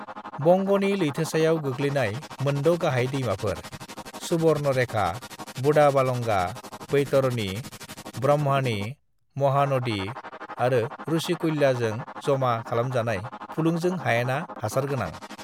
"बंग'नि लैथोसायाव गोग्लैनाय मोनद' गाहाय दैमाफोर: सुबर्णरेखा, बुढाबालंगा, बैतरणी, ब्राह्मणी, महानदी आरो रुशिकुल्याजों जमा खालामजानाय फुलुंजों हायेना हासारगोनां।"